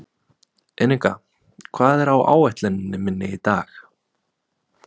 Enika, hvað er á áætluninni minni í dag?